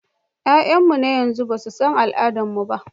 Yaranmu na yanzu ba su san al'adun mu ba.